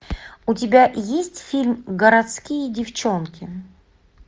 у тебя есть фильм городские девчонки